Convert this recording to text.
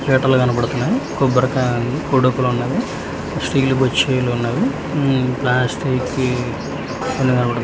పీటలు కనబడుతున్నాయ్ కొబ్బరికాయ ఉంది ఉన్నవి స్టీల్ బొచ్చీలు ఉన్నవి మ్మ్ ప్లాస్టిక్ వి .